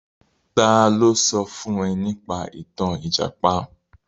Ta ló sọ fún ẹ nípa ìtàn Ìjàpá?